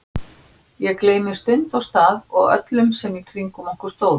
Ég gleymdi stund og stað og öllum sem í kringum okkur stóðu.